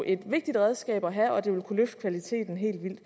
et vigtigt redskab at have og det vil kunne løfte kvaliteten helt vildt